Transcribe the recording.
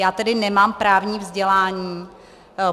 Já tedy nemám právní vzdělání.